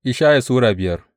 Ishaya Sura biyar